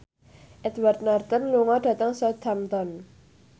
Edward Norton lunga dhateng Southampton